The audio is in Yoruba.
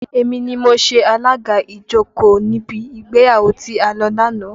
Èmi ni mo ṣe alaga ìjókòó níbi ìgbéyàwó tí a lọ ní àná